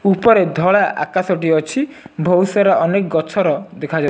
ଉପରେ ଧଳା ଆକାଶଟି ଅଛି। ଭୋଉତ୍ ସାରା ଅନେକ ଗଛର ଦେଖାଯାଉ --